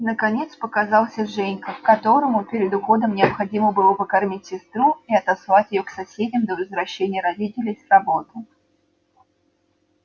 наконец показался женька которому перед уходом необходимо было покормить сестру и отослать её к соседям до возвращения родителей с работы